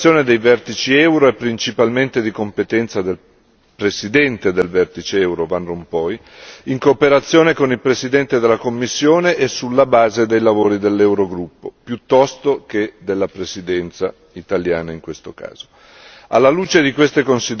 Vorrei aggiungere che la preparazione dei vertici euro è principalmente di competenza del Presidente del vertice euro Van Rompuy, in cooperazione con il Presidente della Commissione e sulla base dei lavori dell'Eurogruppo, piuttosto che della Presidenza italiana in questo caso.